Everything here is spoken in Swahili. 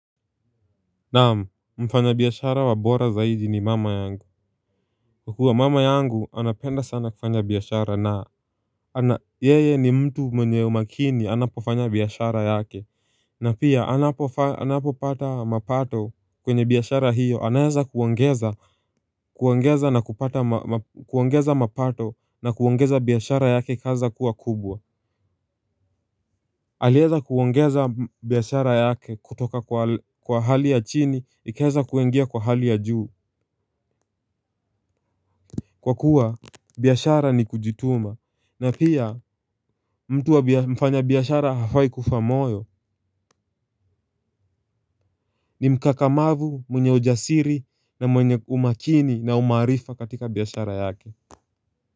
Naam mfanya biashara wa bora zaidi ni mama yangu. Kwa kua mama yangu anapenda sana kufanya biashara naa ana yeye ni mtu mwenye umakini anapofanya biashara yake. Na pia anapopata mapato kwenye biashara hiyo anaeza kuongeza na kupata mapato na kuongeza biashara yake ikaweza kuwa kubwa. Alieza kuongeza biashara yake kutoka kwa hali ya chini ikaeza kuingia kwa hali ya juu. Kwa kuwa biashara ni kujituma na pia mtu wa mfanya biashara hafai kufa moyo ni mkakamavu mwenye ujasiri na mwenye umakini na umaarifa katika biashara yake.